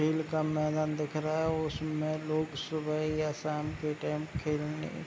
खेल का मैदान दिख रहा है उसमें लोग सुबह या शाम के टाइम खेलने --